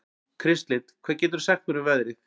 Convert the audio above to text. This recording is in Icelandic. Kristlind, hvað geturðu sagt mér um veðrið?